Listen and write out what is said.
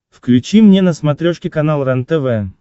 включи мне на смотрешке канал рентв